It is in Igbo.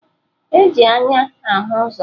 E ji anya ahụ ụzọ